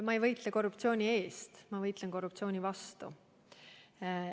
Ma ei võitle korruptsiooni eest, ma võitlen korruptsiooni vastu.